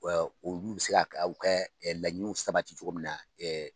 olu bɛ se ka laɲiniw sabati cogo min na.